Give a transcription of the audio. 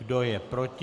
Kdo je proti?